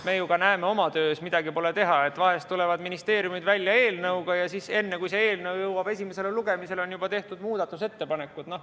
Me ju näeme oma töös, et vahel tulevad ministeeriumid eelnõuga välja ja enne, kui see eelnõu jõuab esimesele lugemisele, on juba tehtud muudatusettepanekud.